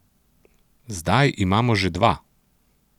Zdaj imamo že dva!